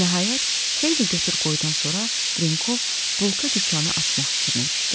Nəhayət xeyli götür-qoydan sonra Drenkov bulka dükanı açmaq fikrinə düşdü.